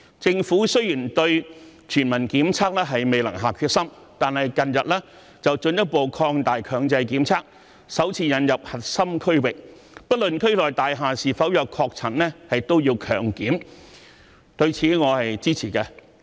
政府雖然未能下定決心推行全民檢測，但近日進一步擴大強制檢測，首次劃定核心區域，不論區內大廈是否有確診，居民都要接受強制檢測，對此我是支持的。